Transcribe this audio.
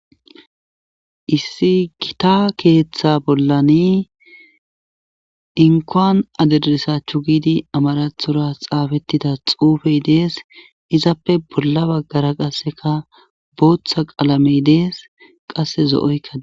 Issi gita keeththa bollani inkoan aderdisachchu giidi amarathora xaafettida xuufey dees izappe bolla baggara qasseka booththa qaalamey dees qasse zo7oykkadi